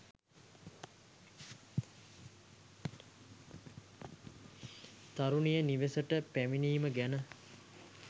තරුණිය නිවෙසට පැමිණීම ගැන